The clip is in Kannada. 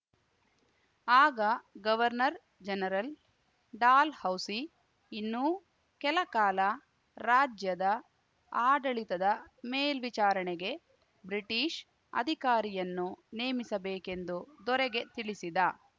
ಆಗ ಗವರ್ನರ್‌ಜನರಲ್ ಡಾಲ್‌ ಹೌಸಿ ಇನ್ನೂ ಕೆಲಕಾಲ ರಾಜ್ಯದ ಆಡಳಿತದ ಮೇಲ್ವಿಚಾರಣೆಗೆ ಬ್ರಿಟಿಷ್‌ ಅಧಿಕಾರಿಯನ್ನು ನೇಮಿಸಬೇಕೆಂದು ದೊರೆಗೆ ತಿಳಿಸಿದ